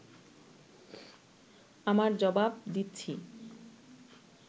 আমার জবাব দিচ্ছি